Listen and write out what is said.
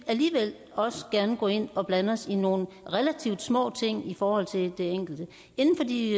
alligevel også gerne vil gå ind og blande os i nogle relativt små ting i forhold til det enkelte inden for de